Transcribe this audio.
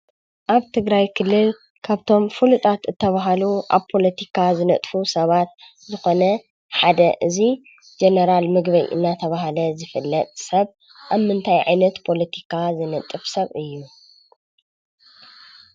ኣብ ትግራይ ክልል ካብቶም ፍሉጣት ዝተባሃሉ ኣብ ፖለቲካ ዝነጥፉ ሰባት ዝኾነ ሓደ እዚ ጀነራል ምግበይ እናተባህለ ዝፍለጥ ሰብ ኣብ ምንታይ ዓይነት ፖለቲካ ዝነጥፍ ሰብ እዩ?